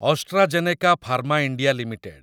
AstraZeneca pharma India limited